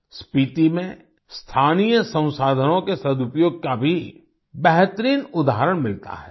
स्पीती में स्थानीय संसाधनों के सदुपयोग का भी बेहतरीन उदाहरण मिलता है